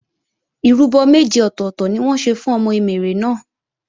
Ìrúbọ méje ọ̀tọ̀tọ̀ ni wọ́n ṣe fún ọmọ Emèrè náà